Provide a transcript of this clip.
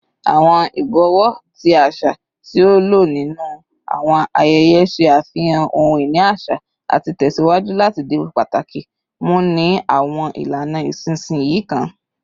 Awọn ibọwọ, ti aṣa ti a lo ninu awọn ayẹyẹ, ṣe afihan ohun-ini aṣa ati tẹsiwaju lati di pataki mu ni awọn ilana isinsinyi kan